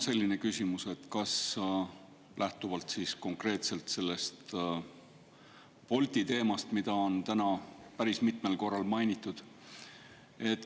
Mul on küsimus lähtuvalt konkreetselt sellest Bolti teemast, mida on täna päris mitmel korral mainitud.